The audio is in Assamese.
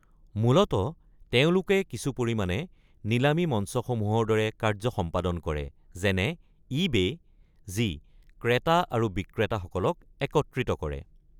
মূলতঃ তেওঁলোকে কিছু পৰিমাণে নিলামী মঞ্চসমূহৰ দৰে কাৰ্যসম্পাদন কৰে, যেনে ই বে, যি ক্ৰেতা আৰু বিক্ৰেতা সকলক একত্ৰিত কৰে।